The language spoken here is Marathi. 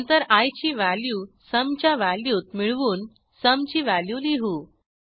नंतर आय ची व्हॅल्यू sumच्या व्हॅल्यूत मिळवून sumची व्हॅल्यू लिहू